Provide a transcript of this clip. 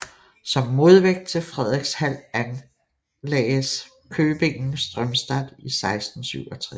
Som modvægt til Fredrikshald anlagdes köpingen Strömstad i 1667